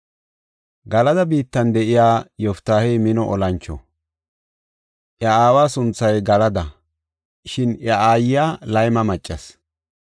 Galada biittan de7iya Yoftaahey mino olancho. Iya aawa sunthay Galada; shin iya aayiya layma maccas.